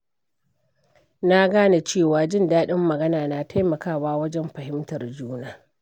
Na gane cewa jin daɗin magana na taimakawa wajen fahimtar juna.